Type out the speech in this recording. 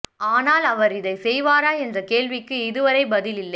ஆனால் அவர் இதை செய்வாரா என்ற கேள்விக்கு இதுவரை பதில் இல்லை